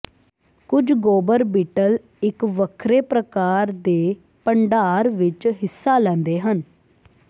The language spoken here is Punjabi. ਕੁਝ ਗੋਬਰ ਬੀਟਲ ਇੱਕ ਵੱਖਰੇ ਪ੍ਰਕਾਰ ਦੇ ਭੰਡਾਰ ਵਿੱਚ ਹਿੱਸਾ ਲੈਂਦੇ ਹਨ